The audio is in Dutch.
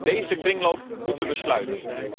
Deze kringloop moeten we sluiten.